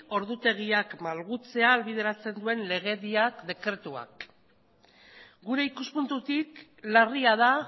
ordutegiak malgutzea ahalbideratzen duen legediak dekretuak gure ikuspuntutik larria da